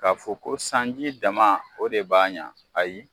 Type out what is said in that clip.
K'a fɔ ko sanji dama o de b'a ɲa ayi